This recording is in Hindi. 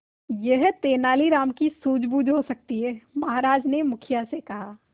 यह तेनालीराम की सूझबूझ हो सकती है महाराज ने मुखिया से कहा